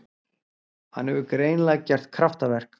Hann hefur greinilega gert kraftaverk.